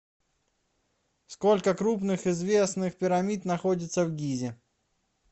сколько крупных известных пирамид находится в гизе